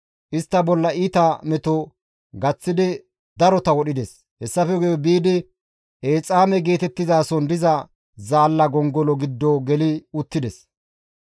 Istta bolla iita meto gaththidi darota wodhides; hessafe guye biidi Exaame geetettizason diza zaalla gongolo giddo geli uttides.